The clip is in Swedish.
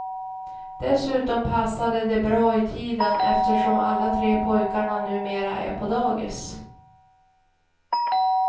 Dessutom passade det bra i tiden eftersom alla tre pojkarna numera är på dagis.